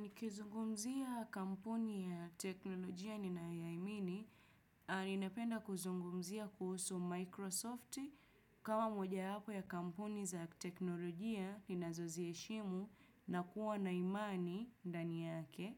Nikizungumzia kampuni ya teknolojia ninayoiamini. Ninapenda kuzungumzia kuhusu Microsoft. Kama moja wapo ya kampuni za teknolojia ninazoziheshimu na kuwa na imani ndani yake.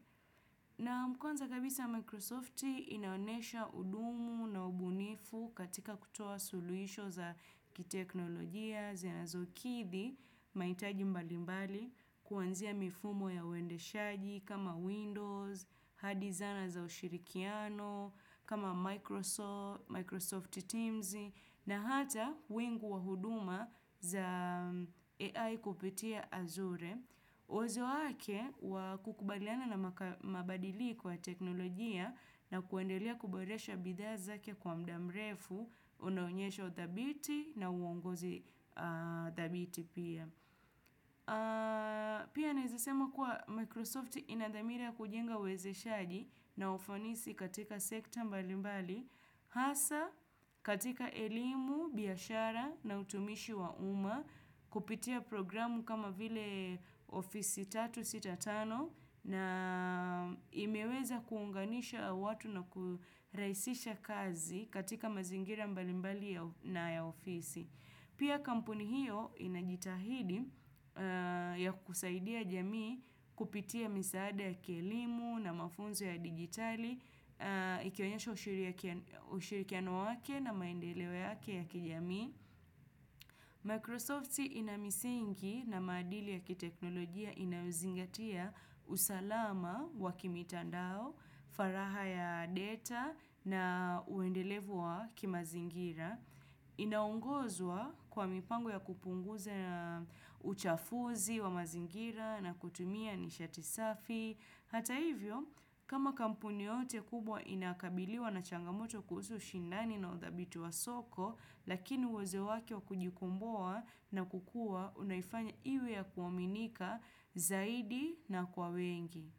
Naam kwanza kabisa Microsoft inaonesha hudumu na ubunifu katika kutoa suluhisho za kiteknolojia. Zinazokithi, mahitaji mbalimbali, kuanzia mifumo ya uendeshaji kama Windows, hard designer za ushirikiano, kama Microsoft, Microsoft Teams, na hata wingu wa huduma za AI kupitia azuri. Uzuri wake wa kukubaliana na mabadili kwa teknolojia na kuwendelea kuboresha bidhaa zake kwa mdamrefu, unaonyesho uthabiti na uongozi thabiti pia. Pia naezasema kuwa Microsoft ina damira ya kujenga uwezeshaji na ufanisi katika sekta mbalimbali. Hasa katika elimu, biashara na utumishi wa uma kupitia programu kama vile Office 365 na imeweza kuunganisha watu na kurahisisha kazi katika mazingira mbalimbali na ya ofisi. Pia kampuni hiyo inajitahidi ya kusaidia jamii kupitia misaada ya kielimu na mafunzo ya digitali, ikionyesha ushirikiano wake na maendeo yake ya kijamii. Microsoft ina misingi na maadili ya kiteknolojia inayozingatia usalama wa kimitandao, faraha ya data na uendelevu wa kimazingira, inaongozwa kwa mipango ya kupunguza uchafuzi wa mazingira na kutumia nishati safi. Hata hivyo, kama kampuni yote kubwa inakabiliwa na changamoto kuhusu shindani na udhabitu wa soko, lakini uwezo wake wa kujikomboa na kukua, unaifanya iwe ya kuaminika zaidi na kwa wengi.